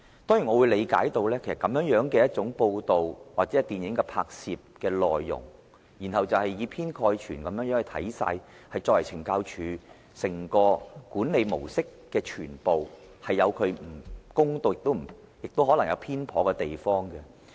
當然，我理解這種報道或電影拍攝的內容，是以偏概全地看懲教署的整個管理模式，亦可能有不公道、有偏頗的地方。